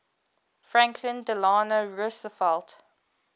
franklin delano roosevelt